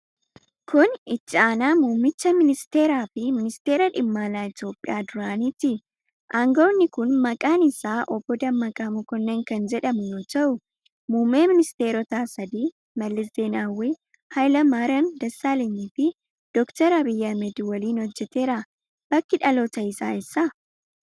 Kun, Itti aanaa muummicha ministeeraa fi ministeera dhimma alaa Itoophiyaa duraaniiti. Aangawni kun, maqaan isaa Obboo Dammaqa Makonnin kan jedhamu yoo ta'u, muummee ministeerotaa sadi: Mallas Zeenaawii, Hayila Maariyaam Dassaalany fi Doktar Abiy Ahimad waliin hojjateera. Bakki dhaloota isaa eessa?